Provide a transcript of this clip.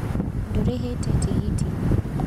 Ndũrĩhĩte tigiti.